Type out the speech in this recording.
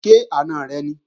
Ṣé àna rẹ ni?